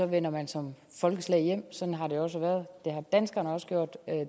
vender man som folkeslag hjem sådan har det også været og det har danskerne også gjort